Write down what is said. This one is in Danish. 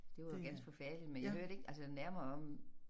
Det var jo ganske forfærdeligt men jeg hørte ikke altså nærmere om